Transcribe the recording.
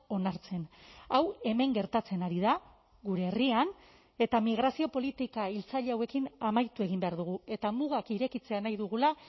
onartzen hau hemen gertatzen ari da gure herrian eta migrazio politika hiltzaile hauekin amaitu egin behar dugu eta mugak irekitzea nahi dugula